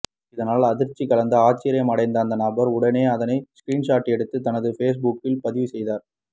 இதனால் அதிர்ச்சி கலந்த ஆச்சரியம் அடைந்த அந்த நபர் உடனே அதனை ஸ்க்ரீன்ஷாட் எடுத்து தனது ஃபேஸ்புக்கில் பதிவு செய்தார்